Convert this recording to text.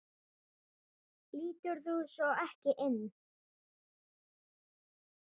spurði Lóa-Lóa ömmu.